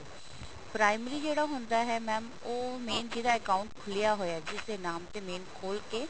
primary ਜਿਹੜਾ ਹੁੰਦਾ ਹੈ mam ਉਹ main ਜਿਹਦਾ account ਖੁਲਿਆ ਹੋਇਆ ਜਿਸ ਦੇ ਨਾਮ ਤੇ main ਖੋਲਕੇ